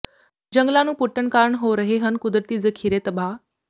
ਜੰਗਲਾਂ ਨੂੰ ਪੁੱਟਣ ਕਾਰਨ ਹੋ ਰਹੇ ਹਨ ਕੁਦਰਤੀ ਜ਼ਖੀਰੇ ਤਬਾਹ